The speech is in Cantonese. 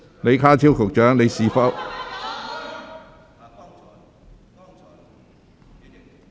李家超局長，你是否......